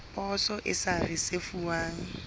ya poso e sa risefuwang